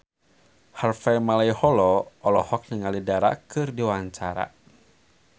Harvey Malaiholo olohok ningali Dara keur diwawancara